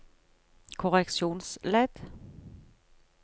korreksjonsledd